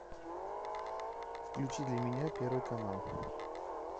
включи для меня первый канал